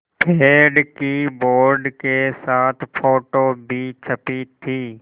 पेड़ की बोर्ड के साथ फ़ोटो भी छपी थी